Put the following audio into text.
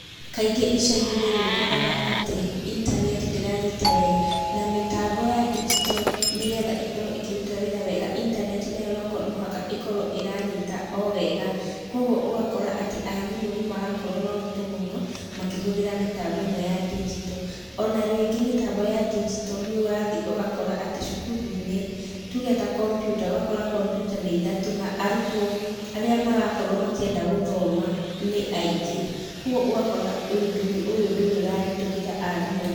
Kaingĩ ĩcagi-inĩ nĩ ũkoraga atĩ intaneti ndĩranyita wega, na mĩtambo ya ndigito nĩgetha ĩkorwo ĩkĩruta wĩra wega, intaneti nayo no mũhaka ĩkorwo nĩ ĩranyĩta o wega. Koguo ũgakora atĩ arimũ nĩ marakorwo na ũritũ mũno makĩhũthĩra mĩtambo ĩno ya ndigito. Ona rĩngĩ mĩtambo ya ndigito nĩ ũrathii ũgakora atĩ cukuru-inĩ, tuge ta kompyuta, ũgakora kompyuta nĩ ithatũ na arutwo arĩa marakorwo makĩenda gũthoma nĩ aingĩ. Koguo ũgakora ũndũ ũyũ nĩ ũraritũhĩra arimũ.